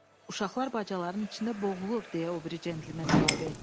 Uşaqlar bacaların içində boğulur, deyə o biri centlmen əlavə etdi.